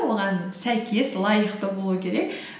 оған сәйкес лайықты болу керек